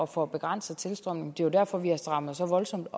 få begrænset tilstrømningen det jo derfor vi har strammet så voldsomt